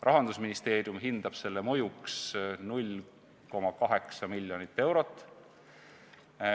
Rahandusministeerium hindab selle mõjuks 0,8 miljonit eurot.